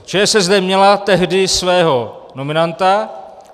ČSSD měla tehdy svého nominanta.